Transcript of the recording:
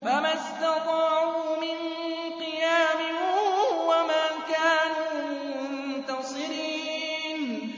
فَمَا اسْتَطَاعُوا مِن قِيَامٍ وَمَا كَانُوا مُنتَصِرِينَ